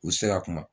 U sera kuma